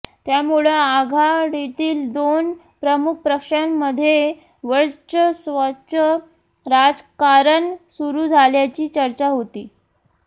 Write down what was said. त्यामुळं आघाडीतील दोन प्रमुख पक्षांमध्ये वर्चस्वाचं राजकारण सुरू झाल्याची चर्चा होती